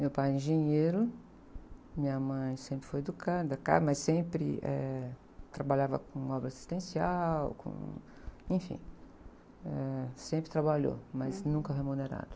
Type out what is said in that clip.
Meu pai é engenheiro, minha mãe sempre foi educada, claro, mas sempre, eh, trabalhava com obra assistencial, com, enfim, sempre trabalhou, mas nunca remunerado.